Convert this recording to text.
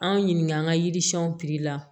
An ɲininka an ka yiri siɲɛnw la